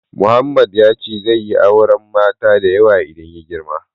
Mohammed ya ce zai yi auren mata da yawa idan ya girma.